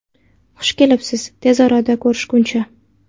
Xush kelibsiz, tez orada ko‘rishguncha!